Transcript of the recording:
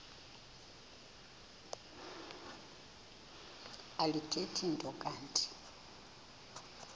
alithethi nto kanti